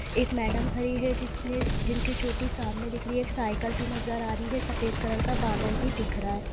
एक मैडम खड़ी है जिसने जिनकी चोटी सामने दिख रही है एक साइकिल भी नज़र आ रही हैसफ़ेद कलर का बादल भी दिख रहा है।